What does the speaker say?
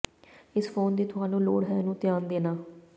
ਇਸ ਫੋਨ ਦੀ ਤੁਹਾਨੂੰ ਲੋੜ ਹੈ ਨੂੰ ਧਿਆਨ ਦੇਣਾ